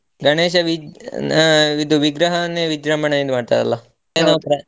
ಗಣೇಶ ವಿ~ ಆ ಇದು ವಿಗ್ರಹವನ್ನೇ ವಿಜ್ರಂಭಣೆಯಿಂದ ಮಾಡ್ತರಲ್ಲ .